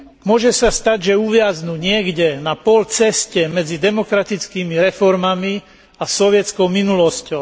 Môže sa stať, že uviaznu niekde na polceste medzi demokratickými reformami a sovietskou minulosťou.